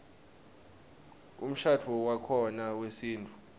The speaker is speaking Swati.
umshadvo wakhona wesintfu